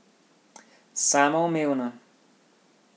Samoumevno!